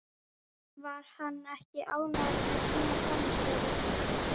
Var hann ekki ánægður með sína frammistöðu?